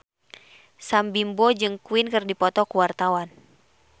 Sam Bimbo jeung Queen keur dipoto ku wartawan